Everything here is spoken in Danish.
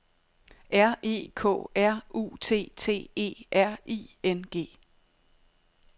R E K R U T T E R I N G